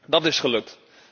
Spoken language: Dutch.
Dat is gelukt.